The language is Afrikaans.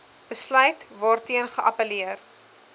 besluit waarteen geappelleer